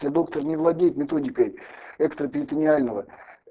то доктор не владеет методикой экстраперитонеального